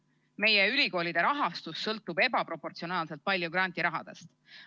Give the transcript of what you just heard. Meie ülikoolide rahastus sõltub ebaproportsionaalselt palju grandirahadest.